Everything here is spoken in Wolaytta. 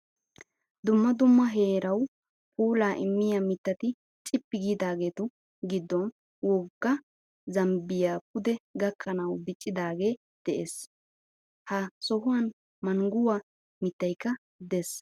dumma dumma heerawu puulaa immiyaa mittati cippi giidaagetu giddom wogga zambbayi pude gakkanawu diccidaagee des. Ha sohan mangguwaa mittayikka des.